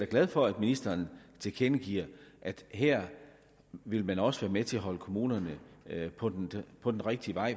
glad for at ministeren tilkendegiver at her vil man også være med til at holde kommunerne på den på den rigtige vej